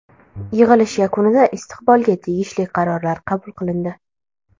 Yig‘ilish yakunida istiqbolga tegishli qarorlar qabul qilindi.